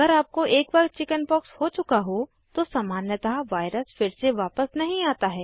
अगर आपको एक बार चिकिन्पॉक्स हो चुका हो तो सामान्यतः वायरस फिर से वापस नहीं आता है